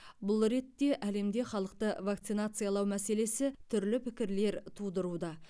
бұл ретте әлемде халықты вакцинациялау мәселесі түрлі пікірлер тудыруда